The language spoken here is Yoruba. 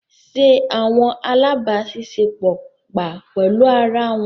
Ṣe awọn alabaṣiṣẹpọ gba pẹlu ara wọn